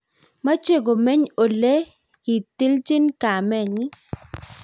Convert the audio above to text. meche lomeny ole lekityinchi kamenyin